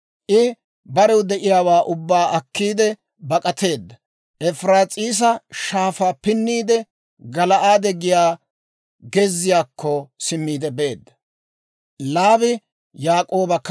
I barew de'iyaawaa ubbaa akkiidde bak'ateedda; Efiraas'iisa Shaafaa pinniide, Gala'aade giyaa gezziyaakko simmiide beedda.